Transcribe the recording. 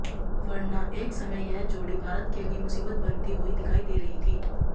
वर्ना एक समय यह जोड़ी भारत के लिए मुसीबत बनती हुई दिखाई दे रही थी